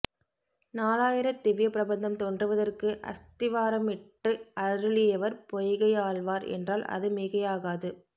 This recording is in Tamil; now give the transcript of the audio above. நாலாயிரத்திவ்ய பிரபந்தம் தோன்றுவதற்கு அஸ்திவாரமிட்டு அருளியவர் பொய்கையாழ்வார் என்றால் அதுமிகையாகாது